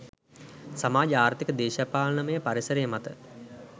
සමාජ ආර්ථික දේශපාලනමය පරිසරය මත